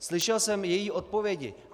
Slyšel jsem její odpovědi.